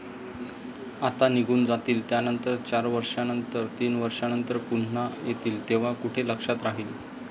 आता निघून जातील, त्यानंतर चार वर्षानंतर, तीन वर्षानंतर पुन्हा येतील, तेव्हा कुठे लक्षात राहील?